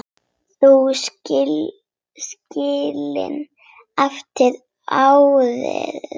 Þau skilin eftir árið.